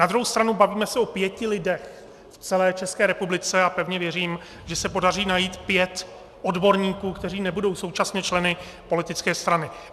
Na druhou stranu bavíme se o pěti lidech v celé České republice a pevně věřím, že se podaří najít pět odborníků, kteří nebudou současně členy politické strany.